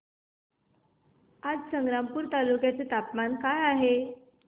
आज संग्रामपूर तालुक्या चे तापमान काय आहे